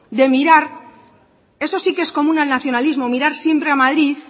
de mirar eso sí que es común al nacionalismo mirar siempre a madrid